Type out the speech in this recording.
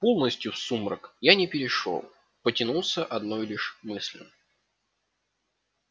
полностью в сумрак я не перешёл потянулся одной лишь мыслью